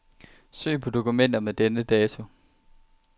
Søg på dokumenter med denne dato.